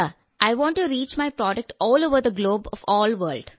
വിജയശാന്തിഅതെ sir എന്റെ ഉൽപ്പന്നം ലോകമെമ്പാടും എത്തിക്കാൻ ഞാൻ ആഗ്രഹിക്കുന്നു